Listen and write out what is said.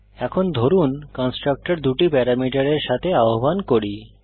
এখন ধরুন কন্সট্রাকটর দুটি প্যারামিটারের সাথে আহ্বান করি